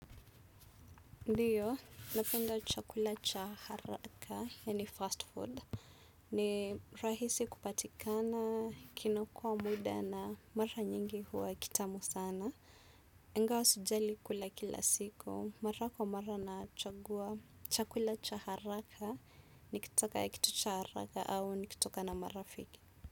Ndiyo, napenda chakula cha haraka, yani fast food. Ni rahisi kupatikana, kinaokoa muda na mara nyingi huwa kitamu sana. Igawa sijai kula kila siku, mara kwa mara nachagua chakula cha haraka nikitaka kitu cha haraka au nikitoka na marafiki.